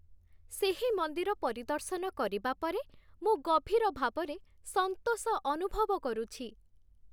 ସେହି ମନ୍ଦିର ପରିଦର୍ଶନ କରିବା ପରେ, ମୁଁ ଗଭୀର ଭାବରେ ସନ୍ତୋଷ ଅନୁଭବ କରୁଛି।